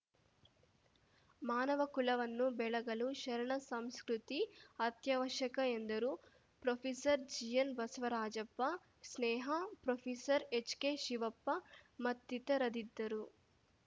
ಮಾನವ ಕುಲವನ್ನು ಬೆಳಗಲು ಶರಣಸಂಸ್ಕೃತಿ ಅತ್ಯವಶ್ಯಕ ಎಂದರು ಪ್ರೊಫೆಸರ್ಜಿಎನ್‌ಬಸವರಾಜಪ್ಪ ಸ್ನೇಹಾ ಪ್ರೊಫೆಸರ್ಎಚ್‌ಕೆಶಿವಪ್ಪ ಮತ್ತಿತರದಿದ್ದರು